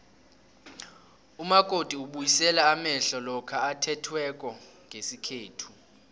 umakoti ubuyisela amehlo lokha athethweko ngesikhethu